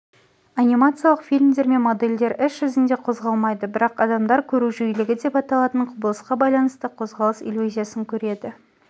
анимациялық фильмдер мен модельдер іс жүзінде қозғалмайды бірақ адамдар көру жиілігі деп аталатын құбылысқа байланысты қозғалыс иллюзиясын көреді